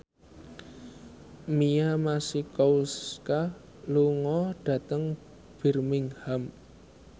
Mia Masikowska lunga dhateng Birmingham